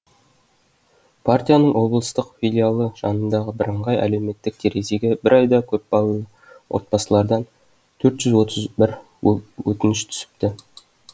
партияның облыстық филиалы жанындағы бірыңғай әлеуметтік терезеге бір айда көпбалалы отбасылардан төрт жүз отыз бір өтініш түсіпті